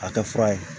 A tɛ fura ye